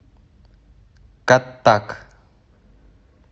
каттак